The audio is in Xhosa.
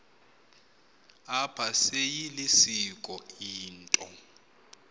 apha seyilisiko into